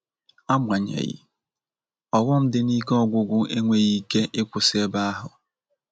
Agbanyeghi, ọghọm di n'ike ọgwụgwụ enweghị ike ịkwusị ebe ahụ